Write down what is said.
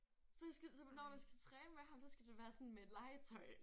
Så jeg skal så når man skal træne med ham så skal det være sådan med et legetøj